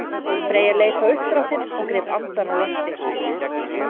Freyja leit á uppdráttinn og greip andann á lofti.